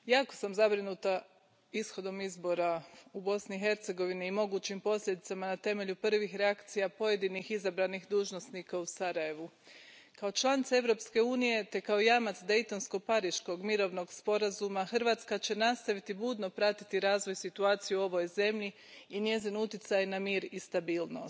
Gospodine predsjedavajući, jako sam zabrinuta ishodom izbora u Bosni i Hercegovini i mogućim posljedicama na temelju prvih reakcija pojedinih izabranih dužnosnika u Sarajevu. Kao članica Europske unije, te kao jamac Daytonsko pariškog mirovnog sporazuma, Hrvatska će nastaviti budno pratiti razvoj situacije u ovoj zemlji i njezin utjecaj na mir i stabilnost.